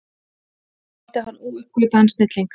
Hann taldi hann óuppgötvaðan snilling.